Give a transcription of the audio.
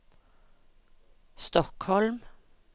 Stockholm